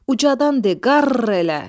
Ucadan de qarr elə!"